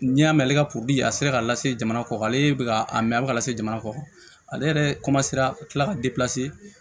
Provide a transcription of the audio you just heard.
N'i y'a mɛn ale ka a sera ka lase jamana kɔ ale bɛ ka a mɛn a bɛ ka lase jamana kɔ ale yɛrɛ ka kila ka